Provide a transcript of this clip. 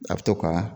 A bɛ to ka